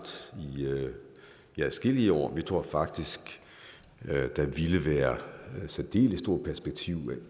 i adskillige år vi tror faktisk at der ville være særdeles store perspektiver